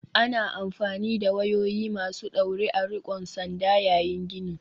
Ana amfani da wayoyi masu ɗaure a riƙon sanda yayin gini.